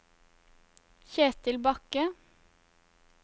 Kjetil Bakke